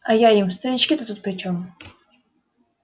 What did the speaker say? а я им старички-то тут причём